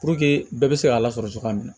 Puruke bɛɛ bɛ se k'a lasɔrɔ cogoya min na